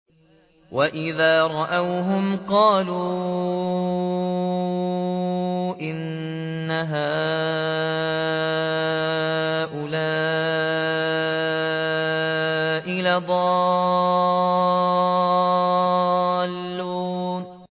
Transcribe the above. وَإِذَا رَأَوْهُمْ قَالُوا إِنَّ هَٰؤُلَاءِ لَضَالُّونَ